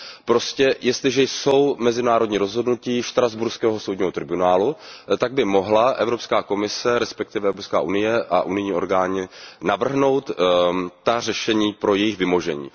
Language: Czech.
Prostě jestliže jsou mezinárodní rozhodnutí štrasburského soudního tribunálu, tak by mohla Evropská komise, respektive Evropská unie a unijní orgány navrhnout řešení pro jejich vymáhání.